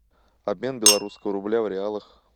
обмен белорусского рубля в реалах